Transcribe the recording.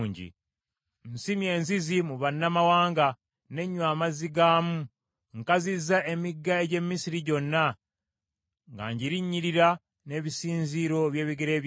Nsimye enzizi mu bannamawanga, n’enywa amazzi gaamu. Nkazizza emigga egy’e Misiri gyonna, nga ngirinnyirira n’ebisinziiro by’ebigere byange.”